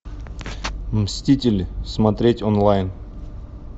мстители смотреть онлайн